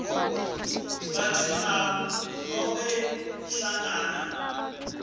bantfu nobe tinhlangano